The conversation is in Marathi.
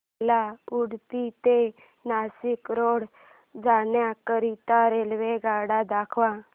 मला उडुपी ते नाशिक रोड जाण्या करीता रेल्वेगाड्या दाखवा